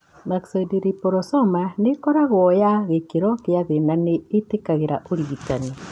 Myxoid liposarcoma nĩ ĩkoragũo ya gĩkĩro kĩa thĩ na nĩ ĩtĩkagĩra ũrigitani.